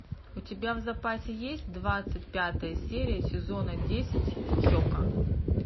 у тебя в запасе есть двадцать пятая серия сезона десять хека